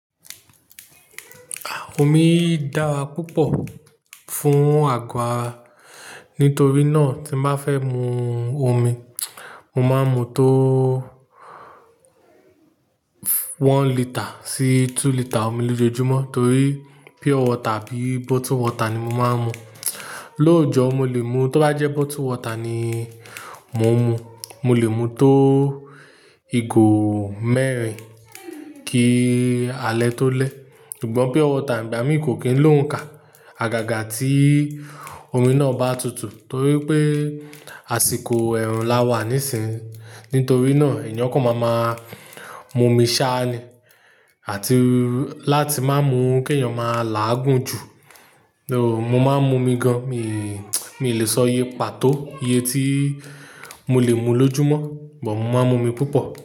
Omi dára púpọ̀ fún àgọ́ ara, nítorí náà tí má fẹ́ mu omi, mo máa ń mu tó one litre sí two litre omi lójojúmọ́ torí pure water tàbí bottled water ni mo máa ń mu. Lójọ̀ọ́ mo lè mu, tó bá jẹ́ bottled water ni mo ń mu, mo lè mu tó igò mẹ́rin kí alẹ́ tó lẹ́. Ṣùgbọ́n pure water ìgbà mí kò kín ló ń kà. Àgàgà tí omi náà bá tutù torí pé àsìkò ẹ̀rùn la wà nísìínyi. Nítorí náà ìyán kò máa máa mú omi ṣá ni àti láti má mú kí èèyàn má làágùn jù. Mo máa ń mú omi gan-an, mi, mi ò lè sọ iye pàtó iye tí mo lè mu lójúmọ́, mo máa ń mú omi púpọ̀